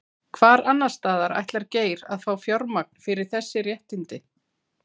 Hvar annarsstaðar ætlar Geir að fá fjármagn fyrir þessi réttindi?